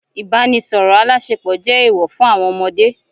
Ibanisọrọ alásèpọ̀ jẹ eewọ fún àwọn ọmọdé.